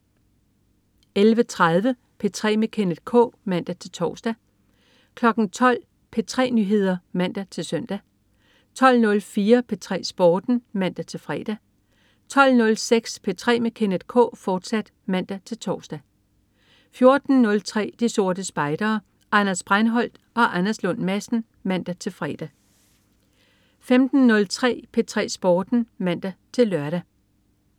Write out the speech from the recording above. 11.30 P3 med Kenneth K (man-tors) 12.00 P3 Nyheder (man-søn) 12.04 P3 Sporten (man-fre) 12.06 P3 med Kenneth K, fortsat (man-tors) 14.03 De Sorte Spejdere. Anders Breinholt og Anders Lund Madsen (man-fre) 15.03 P3 Sporten (man-lør)